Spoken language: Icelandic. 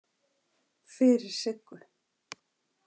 Fyrir Siggu.